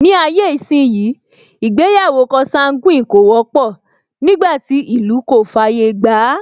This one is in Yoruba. Ní ayé ìsínyi, ìgbéyàwó consanguine kò wọ́pọ̀, nígbàtí ìlú kò fàyè gbàá